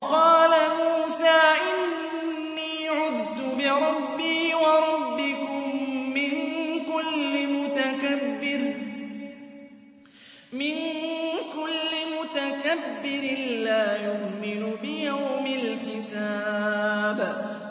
وَقَالَ مُوسَىٰ إِنِّي عُذْتُ بِرَبِّي وَرَبِّكُم مِّن كُلِّ مُتَكَبِّرٍ لَّا يُؤْمِنُ بِيَوْمِ الْحِسَابِ